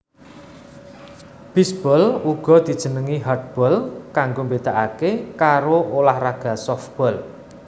Bisbol uga dijenengi hardball kanggo mbedakake karo ulah raga sofbol